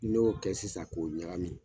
N'i y'o kɛ sisan k'o ɲagami